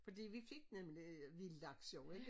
Fordi vi fik nemlig vild laks jo ikke